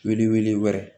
Wilili wɛrɛ